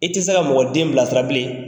I tɛ se ka mɔgɔ den bila sira bilen